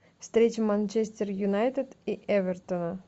встреча манчестер юнайтед и эвертона